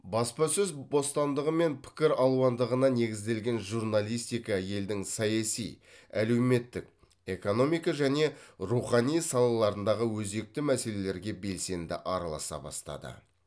баспасөз бостандығы мен пікір алуандығына негізделген журналистика елдің саяси әлеуметтік экономика және рухани салаларындағы өзекті мәселелерге белсенді араласа бастады